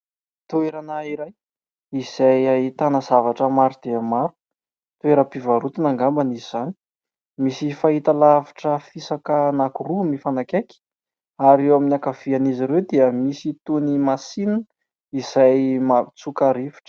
Toerana iray izay ahitana zavatra maro dia maro. Toeram-pivarotana angamba izany. Misy fahitalavitra fisaka anankiroa mifanakaiky ary eo amin'ny ankavian'izy ireo dia misy toy ny masinina izay mampitsoka rivotra.